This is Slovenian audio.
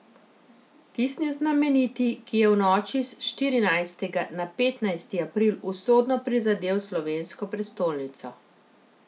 Tisti znameniti, ki je v noči s štirinajstega na petnajsti april usodno prizadel slovensko prestolnico.